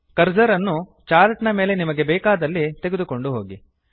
cursor ಅನ್ನು chart ನ ಮೇಲೆ ನಿಮಗೆ ಬೇಕಾದಲ್ಲಿ ತೆಗೆದುಕೊಂಡು ಹೋಗಿ